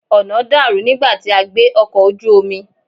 Ọ̀nà dàrú nígbà tí a gbé ọkọ̀ ojú omi.